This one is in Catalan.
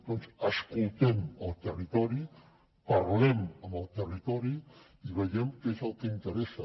doncs escoltem el territori parlem amb el territori i veiem què és el que interessa